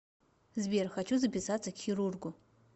сбер хочу записаться к хирургу